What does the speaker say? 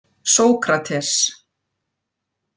Sókrates